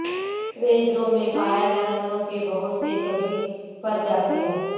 reserve میں پایا جانوروں کے بہت سے کبھی پرجاتیوں